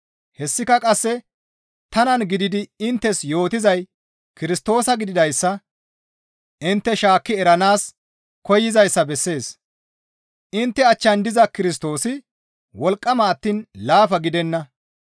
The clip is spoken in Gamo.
Hessika qasse tanan gididi inttes yootizay Kirstoosa gididayssa intte shaakki eranaas koyzayssa bessees; intte achchan diza Kirstoosi wolqqama attiin laafa gidenna.